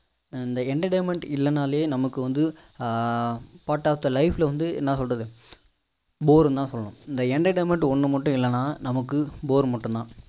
இந்த entertainment இல்லனாலே நமக்கு வந்து ஆஹ் part of the life ல வந்து என்ன சொல்றது bore னு தான் சொல்லணும் இந்த entertainment ஒன்னும் மட்டும் இல்லலைன்னா நமக்கு bore மட்டும் தான்